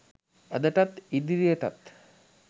අදටත් ඉදිරියටත්